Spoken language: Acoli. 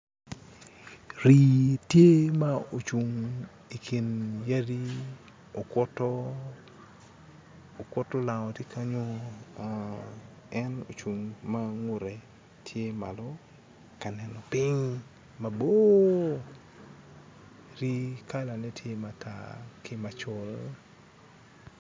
Rii tye ma ocung ikin yadi okuto, okuto lango tye kenyo en ocung ma ngute tye malo ka neno piny mabor, kalane tye matar ki macol